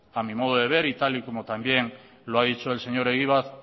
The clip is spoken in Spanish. a mi modo de ver y tal y como también lo ha dicho el señor egibar